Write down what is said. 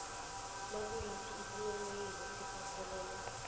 nayikuthi isinghonghoyilo siphathelene